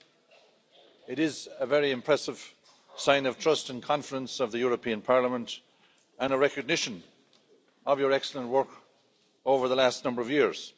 Ms O'Reilly, it is a very impressive sign of trust and confidence of the European Parliament and a recognition of your excellent work over the last number of years.